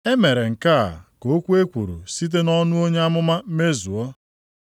E mere nke a ka okwu e kwuru site nʼọnụ onye amụma mezuo.